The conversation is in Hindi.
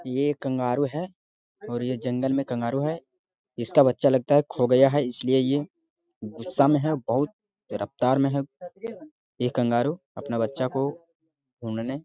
ये कंगारू है और ये जंगल में कंगारू है इसका बच्चा लगता है खो गया है इसलिए ये गुस्सा में है बहुत रफ्तार में है ये कंगारू अपना बच्चा को ढूंढने--